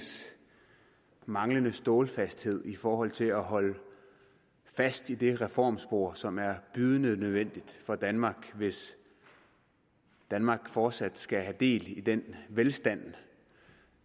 manglende stålfasthed i forhold til at holde fast i det reformspor som er bydende nødvendigt for danmark hvis danmark fortsat skal have del i den velstand